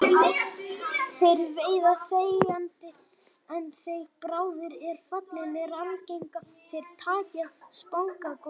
Þeir veiða þegjandi en þegar bráðin er fallin er algengt að þeir taki að spangóla.